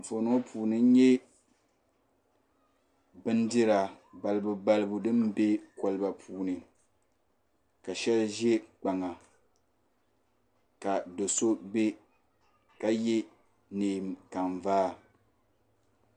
Gbanpiɛlla paɣaba bi ʒɛla teebuli gbunni teebuli maa zuɣu gbana pam n pa di zuɣu bi sabiri mi yino yɛla liiga sabinli n pa o liiga zuɣu ka ga agogo ka yino zaŋ bin sabinli n piri o nuu ka yɛ nyingokɔrigu.